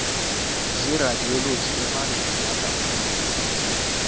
zeradioloji ephambili yangaphandle